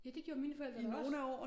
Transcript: Ja det gjorde mine forældre da også